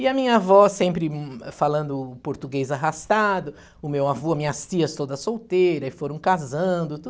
E a minha avó sempre falando português arrastado, o meu avô, minhas tias todas solteiras, foram casando, tudo